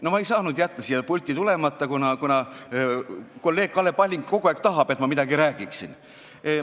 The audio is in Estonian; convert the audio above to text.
No ma ei saanud jätta siia pulti tulemata, kuna kolleeg Kalle Palling kogu aeg tahab, et ma midagi räägiksin.